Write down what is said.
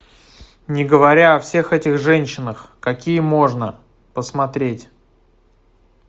не говоря о всех этих женщинах какие можно посмотреть